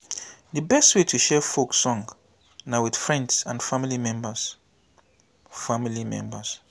di best way to share folk song na with friends and family members family members